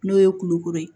N'o ye kulukoro ye